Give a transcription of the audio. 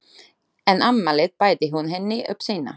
En afmælið bæti hún henni upp seinna.